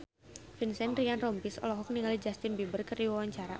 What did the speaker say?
Vincent Ryan Rompies olohok ningali Justin Beiber keur diwawancara